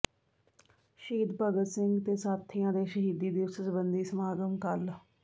ਸ਼ਹੀਦ ਭਗਤ ਸਿੰਘ ਤੇ ਸਾਥੀਆਂ ਦੇ ਸ਼ਹੀਦੀ ਦਿਵਸ ਸਬੰਧੀ ਸਮਾਗਮ ਕੱਲ੍ਹ